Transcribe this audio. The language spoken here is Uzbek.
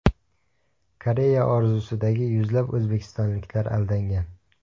Koreya orzusidagi yuzlab o‘zbekistonliklar aldangan.